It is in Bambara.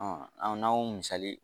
an n'an y'o misali ye